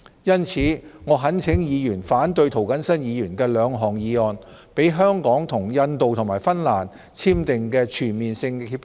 因此，我懇請議員反對涂謹申議員的兩項議案，讓香港與印度和芬蘭簽訂的全面性協定盡早生效。